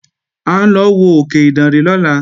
À ń lọ wo òkè Ìdànrè lọ́la